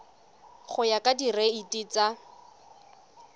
go ya ka direiti tsa